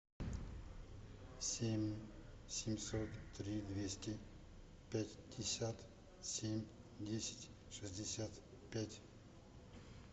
семь семьсот три двести пятьдесят семь десять шестьдесят пять